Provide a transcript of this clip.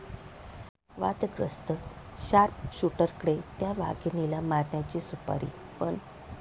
वादग्रस्त शार्पशूटरकडे 'त्या' वाघिणीला मारण्याची सुपारी, पण...!